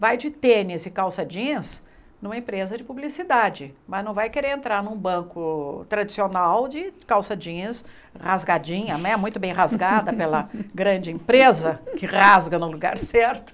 Vai de tênis e calça jeans numa empresa de publicidade, mas não vai querer entrar num banco tradicional de calça jeans rasgadinha, né muito bem rasgada pela grande empresa, que rasga no lugar certo.